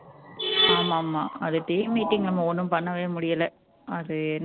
ஆமாமா அது team meeting நம்ம ஒண்ணும் பண்ணவே முடியல அது என்ன